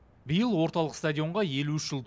биыл орталық стадионға елу үш жыл